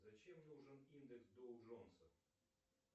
зачем нужен индекс доу джонса